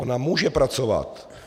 Ona může pracovat.